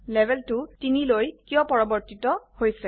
level টো 3 লৈ কিয় পৰিবৰ্তিত হৈছে